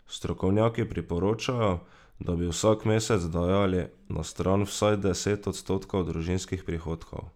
Strokovnjaki priporočajo, da bi vsak mesec dajali na stran vsaj deset odstotkov družinskih prihodkov.